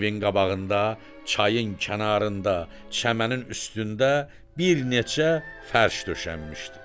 Evin qabağında, çayın kənarında, çəmənin üstündə bir neçə fərş döşənmişdi.